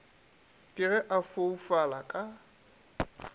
ke ge a foufala ka